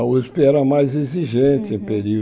A Usp era mais exigente em